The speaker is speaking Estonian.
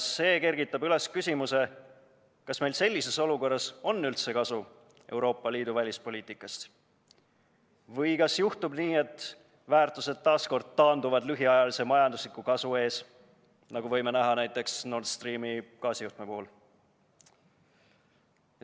See kergitab üles küsimuse, kas meil sellises olukorras on üldse kasu Euroopa Liidu välispoliitikast või kas juhtub nii, et väärtused taas kord taanduvad lühiajalise majandusliku kasu ees, nagu võime näha Nord Streami gaasijuhtme puhul.